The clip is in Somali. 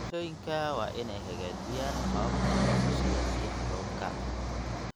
Bulshooyinka waa inay hagaajiyaan hababka goosashada biyaha roobka.